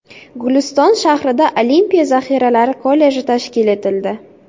Guliston shahrida Olimpiya zaxiralari kolleji tashkil etildi.